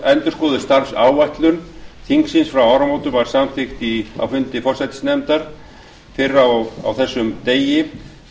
endurskoðuð starfsáætlun þingsins frá áramótum var samþykkt á fundi forsætisnefndar fyrr á þessum degi